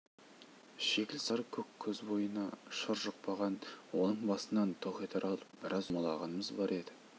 шикіл сары көк көз бойына шыр жұқпаған оның басынан тоқетер алып біраз жұлмалағанымыз бар еді